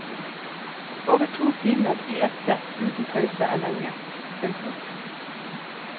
Over to timer i ett sett uten pause er lenge. punktum